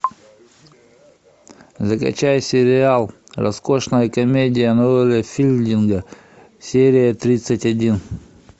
закачай сериал роскошная комедия ноэля филдинга серия тридцать один